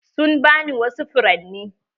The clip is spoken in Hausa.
Sun ba ni wasu furanni.